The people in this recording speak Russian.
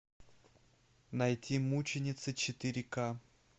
найти мученицы четыре ка